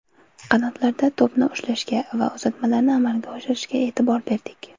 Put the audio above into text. Qanotlarda to‘pni ushlashga va uzatmalarni amalga oshirishga e’tibor berdik.